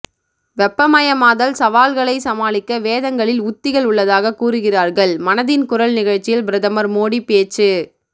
வெப்பமயமாதல் சவால்களை சமாளிக்க வேதங்களில் உத்திகள் உள்ளதாக கூறுகிறார்கள் மனதின் குரல் நிகழ்ச்சியில் பிரதமர் மோடி பேச்சு